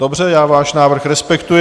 Dobře, já váš návrh respektuji.